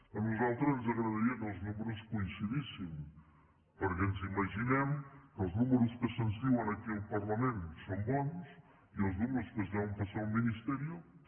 a nosaltres ens agradaria que els números coincidissin perquè ens imaginem que els números que se’ns diuen aquí al parlament són bons i els números que es deuen passar al ministerio també